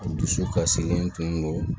Dusu kasilen tun do